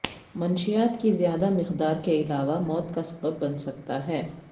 منشیات کی زیادہ مقدار کے علاوہ موت کا سبب بن سکتا ہے